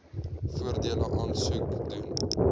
voordele aansoek doen